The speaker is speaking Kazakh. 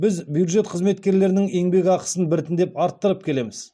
біз бюджет қызметкерлерінің еңбекақысын біртіндеп арттырып келеміз